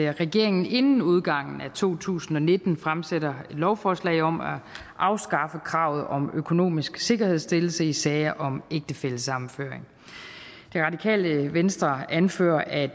at regeringen inden udgangen af to tusind og nitten fremsætter lovforslag om at afskaffe kravet om økonomisk sikkerhedsstillelse i sager om ægtefællesammenføring det radikale venstre anfører at